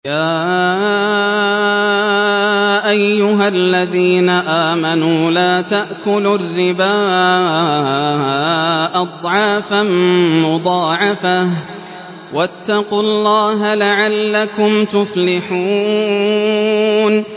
يَا أَيُّهَا الَّذِينَ آمَنُوا لَا تَأْكُلُوا الرِّبَا أَضْعَافًا مُّضَاعَفَةً ۖ وَاتَّقُوا اللَّهَ لَعَلَّكُمْ تُفْلِحُونَ